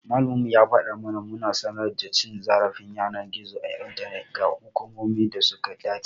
Malaminmu ya fada mana muna sanar da cin zarafin yanar gizo ta intanet ga hukumomin da suka dace.